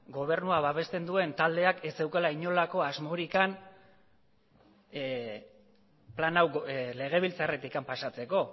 gobernuak babesten duen taldeak ez zeukala inolako asmorik plan hau legebiltzarretik pasatzeko